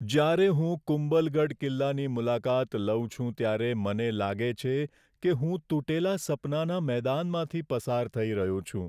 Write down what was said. જ્યારે હું કુંભલગઢ કિલ્લાની મુલાકાત લઉં છું ત્યારે મને લાગે છે કે હું તૂટેલા સપનાના મેદાનમાંથી પસાર થઈ રહ્યો છું.